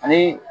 Ani